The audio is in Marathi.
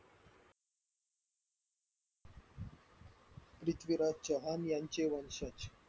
पृथ्वीराज चव्हाण यांचे वर्षाच